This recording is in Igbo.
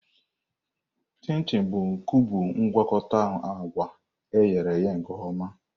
Chim-chim bụ kubu mgwakota agwa e ghere eghe nke ọma.